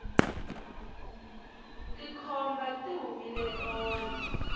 tikhomba ti humile tolo